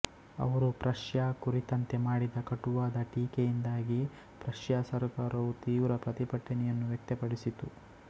ಅವರು ಪ್ರಶ್ಯಾ ಕುರಿತಂತೆ ಮಾಡಿದ ಕಟುವಾದ ಟೀಕೆಯಿಂದಾಗಿ ಪ್ರಶ್ಯಾ ಸರ್ಕಾರವು ತೀವ್ರ ಪ್ರತಿಭಟನೆಯನ್ನು ವ್ಯಕ್ತಪಡಿಸಿತು